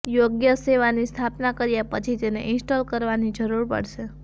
યોગ્ય સેવાની સ્થાપના કર્યા પછી તેને ઇન્સ્ટોલ કરવાની જરૂર પડશે